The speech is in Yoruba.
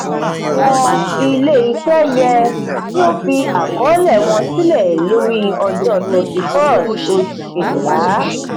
awọn ile-iṣẹ yẹ ki o fi akọọlẹ wọn silẹ lori ọjọ thirty first oṣu kejila.